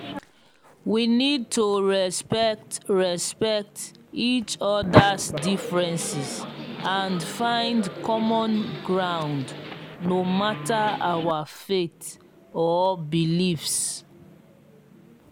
we need to respect respect each oda's differences and find common ground no matter our faith or beliefs.